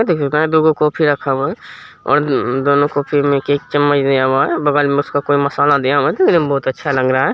दो गो कॉफी रखा हुआ है और दोनो कॉफी मे एक-एक चम्मच दिया हुआ हैं बगल मे उसका कोई मसाला दिया हुआ हैं देखने मे काफीअच्छा लग रहा हैं ।